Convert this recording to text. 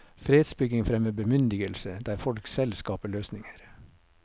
Fredsbygging fremmer bemyndigelse, der folk selv skaper løsninger.